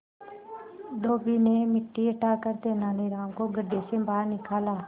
धोबी ने मिट्टी हटाकर तेनालीराम को गड्ढे से बाहर निकाला